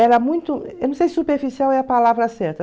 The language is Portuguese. Era muito... Eu não sei se superficial é a palavra certa.